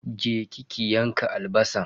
Je ki ki yanka albasan.